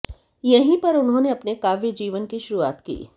यहीं पर उन्होंने अपने काव्य जीवन की शुरुआत की